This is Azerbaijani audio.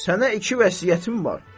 Sənə iki vəsiyyətim var.